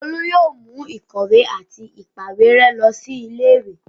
Olú yóò mú ìkọ̀wé àti ìpàwérẹ́ lọ sí ilé-ìwé?